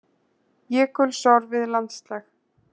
Jökulsorfið landslag.